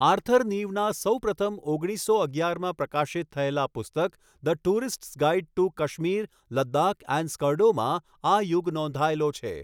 Arthur નીવના સૌપ્રથમ ઓગણીસસો અગિયારમાં પ્રકાશિત થયેલા પુસ્તક 'the tourists guide to Kashmir, Ladakh and Skardu' માં આ યુગ નોંધાયેલો છે.